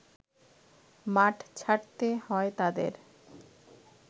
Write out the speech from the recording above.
মাঠ ছাড়তে হয় তাদের